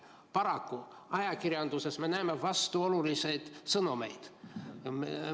Paraku ajakirjanduses me näeme vastuolulisi sõnumeid.